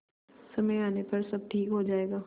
समय आने पर सब ठीक हो जाएगा